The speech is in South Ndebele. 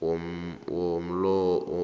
walomhlobo